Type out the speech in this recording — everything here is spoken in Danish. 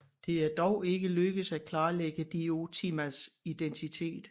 Det er dog ikke lykkedes at klarlægge Diotimas identitet